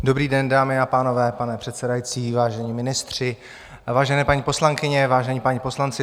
Dobrý den, dámy a pánové, pane předsedající, vážení ministři, vážené paní poslankyně, vážení páni poslanci.